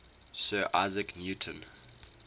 sir isaac newton